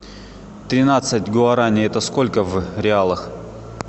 тринадцать гуарани это сколько в реалах